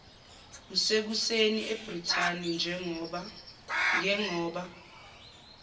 kusekuseni ebrithani ngengoba